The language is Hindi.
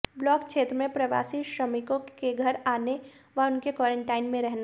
ब्लॉक क्षेत्र में प्रवासी श्रमिकों के घर आने व उनके क्वॉरेंटाइन में रहने